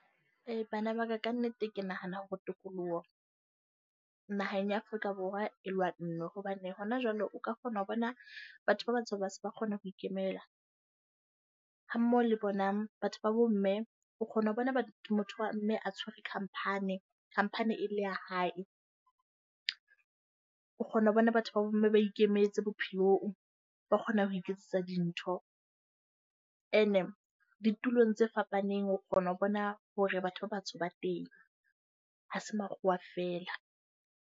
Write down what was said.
E, bana ba ka ka nnete ke nahana hore tokoloho naheng ya Afrika Borwa e lower , hobane hona jwale o ka kgona ho bona batho ba batsho ba se ba kgona ho ikemela. Ha mmoho le bona batho ba bomme, o kgona ho bona motho wa mme a tshwere company. Company e le ya hae. O kgona ho bona batho ba bomme ba ikemetse bophelong, ba kgona ho iketsetsa dintho. Ene ditulong tse fapaneng o kgona ho bona hore batho ba batsho ba teng, ha se makgowa feela.